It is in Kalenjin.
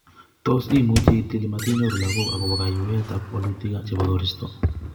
Tos, imuchi itil matinyoru lagok akopo kayweet ap walutik chepo koristo